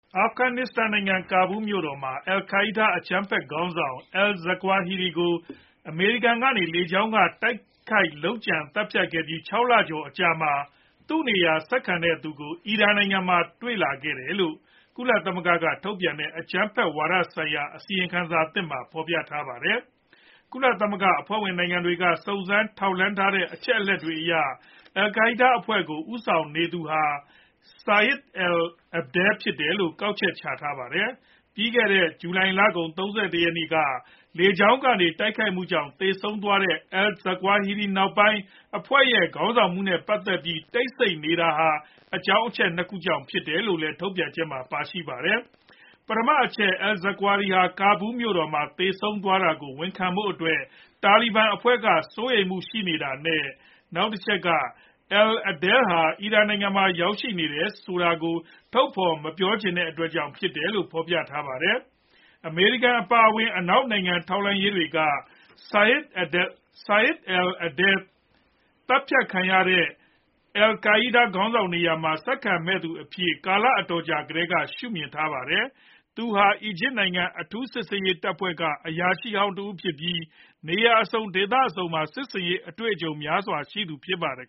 အာဖဂန်နစ္စတန်နိုင်ငံ ၊ ကာဘူးလ်မြို့တော်မှာ အယ်လ်ကိုင်းဒါးအကြမ်းဖက် ခေါင်းဆောင် al-Zawahiri ကို အမေရိကန်ကနေ လေကြောင်းက တိုက်ခိုက် လုပ်ကြံသတ်ဖြတ်ခဲ့ပြီး ၆ လကျော်အကြာမှာ သူ့နေရာဆက်ခံတဲ့သူကို အီရန်နိုင်ငံမှာ တွေ့လာရတယ်လို့ ကုလသမဂ္ဂကထုတ်ပြန်တဲ့ အကြမ်းဖက်ဝါဒဆိုင်ရာ အစီရင်ခံစာသစ်မှာ ဖေါ်ပြထားပါတယ်။ ကုလသမဂ္ဂအဖွဲ့ဝင်နိုင်ငံတွေက စုံစမ်းထောက်လှမ်းထားတဲ့ အချက်အလက်တွေအရ အယ်လ်ကိုင်းဒါးအဖွဲ့ကို ဦးဆောင်နေသူဟာ Saif al-Adel ဖြစ်မယ်လို့ ကောက်ချက်ချထားတာပါ။ ပြီးခဲ့တဲ့ ဇူလိုင်လကုန် ၃၁ ရက်နေ့က လေကြောင်းကတိုက်ခိုက်မှုကြောင့် သေဆုံးသွားတဲ့ al-Zawahiri နောက်ပိုင်း အဖွဲ့ရဲ့ ခေါင်းဆောင်မှုနဲ့ပတ်သက်ပြီး တိတ်ဆိတ်နေရတာဟာ အကြောင်းအချက် ၂ ခုကြောင့်ဖြစ်တယ်လို့လည်း ထုတ်ပြန်ချက်မှာ ပါရှိပါတယ်။ ပထမအချက်က al - Zawahiri ဟာ ကာဘူးလ်မြို့မှာ သေဆုံးသွားတာကို ဝန်ခံဖို့အတွက်Taliban အဖွဲ့က စိုးရိမ်မှုရှိနေတာနဲ့ နောက်တချက်က al-Adel ဟာ အီရန်နိုင်ငံမှာ ရောက်ရှိနေတယ်ဆိုတာကို ထုတ်ဖော်မပြောချင်တဲ့အတွက်ကြောင့် ဖြစ်တယ်လို့ ဖော်ပြထားပါတယ်။ အမေရိကန်အပါအဝင် အနောက်နိုင်ငံတွေက ထောက်လှမ်းရေးဌာနတွေက Saif al-Adel ကို သတ်ဖြတ်ခံရတဲ့ al -Qaida ခေါင်းဆောင်နေရာမှာ ဆက်ခံမဲ့သူအဖြစ်နဲ့ ကာလအတော်ကြာကတည်းက ရှုှမြင်ထားကြပါတယ်။ သူဟာ အီဂျစ်နိုင်ငံ အထူးစစ်ဆင်ရေးတပ်ဖွဲ့က အရာရှိဟောင်းတဦးဖြစ်ပြီး နေရာအစုံ ဒေသအစုံမှာ စစ်ဆင်ရေး အတွေ့ကြုံများစွာရှိသူတဦးဖြစ်ပါတယ်